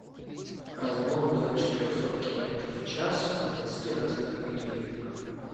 разгон до четырехсот километров в час в двадцати разных видео играх